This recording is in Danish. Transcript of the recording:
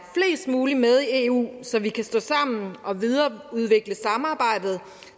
mulige med i eu så vi kan stå sammen og videreudvikle samarbejdet